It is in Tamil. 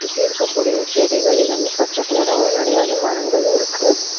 சுத்தி இருக்க கூடிய செடிகள் எல்லாமே பச்ச கலரா நெறைய வந்து மரங்களு இருக்கு.